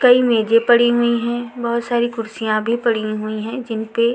कई मेजें पड़ी हुई है बहोत सारी कुर्सियाँ भी पड़ी हुई है जिन पे --